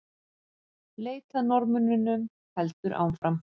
Leit að Norðmönnunum heldur áfram